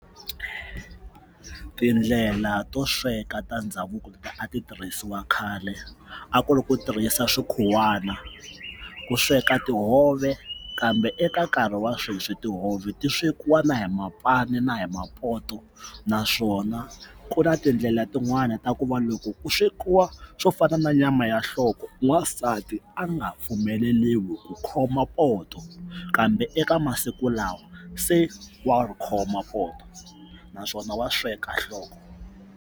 Tindlela to sweka ta ndhavuko leti a ti tirhisiwa khale a ku ri ku tirhisa swi khuwana ku sweka tihove kambe eka nkarhi wa sweswi tihove ti swekiwa na hi mapane na hi mapoto naswona ku na tindlela tin'wani ta ku va loko ku swekiwa swo fana na nyama ya nhloko n'wansati a nga pfumeleriwi ku khoma poto kambe eka masiku lawa se wa ri khoma poto naswona wa sweka nhloko.